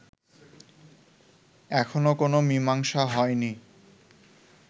এখনো কোন মীমাংসা হয় নি